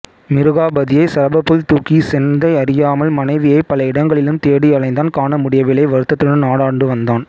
மிருகாபதியைச் சரபப்புள் தூக்கிச் சென்தை அறியாமல் மனைவியைப் பல இடங்களிலும் தேடி அலைந்தான் காணமுடியவில்லை வருத்தத்துடன் நாடாண்டுவந்தான்